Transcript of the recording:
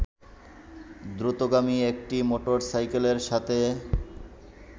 দ্রুতগামী একটি মোটরসাইকেলের সাথে